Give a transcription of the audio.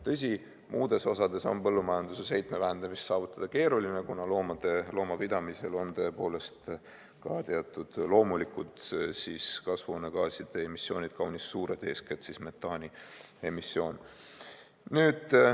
Tõsi, muudes osades on põllumajanduses heitme vähendamist saavutada keeruline, kuna loomapidamisel on tõepoolest ka teatud loomulikud kasvuhoonegaaside emissioonid kaunis suured, eeskätt metaani emissioon.